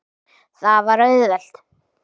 Það var auðvelt.